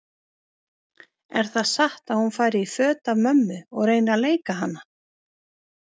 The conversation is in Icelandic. Er það satt að hún fari í föt af mömmu og reyni að leika hana?